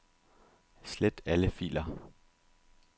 Slet alle filer.